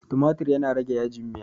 tumatir yana rage yajin Miya